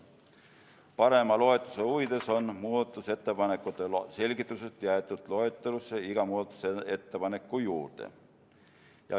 Parema loetavuse huvides on muudatusettepanekute selgitused jäetud loetelusse iga muudatusettepaneku juurde.